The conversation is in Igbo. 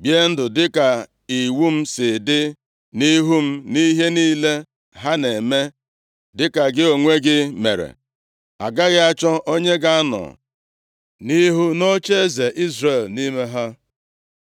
bie ndụ dịka iwu m si dị nʼihu m, nʼihe niile ha na-eme, dịka gị onwe gị mere, agaghị achọ onye ga-anọ nʼihu nʼocheeze Izrel nʼime ha.’